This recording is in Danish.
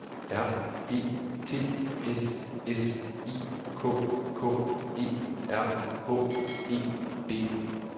R E T S S I K K E R H E D